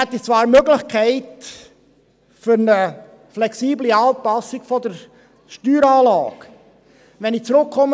Wir hätten zwar die Möglichkeit, eine flexible Anpassung der Steueranlage vorzunehmen.